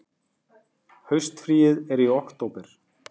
Haustfríið er í október.